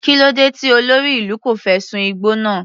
Kílódé tí olórí ìlú kò fẹ́ sun igbó náà.